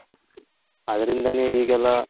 ಆದ್ರಿಂದ ನೆ ಈಗೆಲ್ಲ